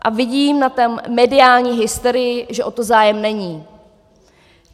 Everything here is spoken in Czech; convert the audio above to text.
A vidím na té mediální hysterii, že o to zájem není.